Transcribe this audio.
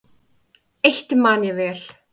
Eitt man ég vel.